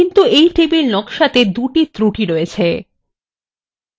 কিন্তু এই টেবিল নকশাতে দুটি ত্রুটি রয়েছে